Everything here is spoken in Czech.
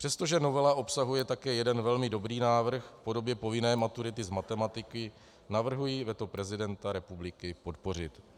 Přestože novela obsahuje také jeden velmi dobrý návrh v podobě povinné maturity z matematiky, navrhuji veto prezidenta republiky podpořit.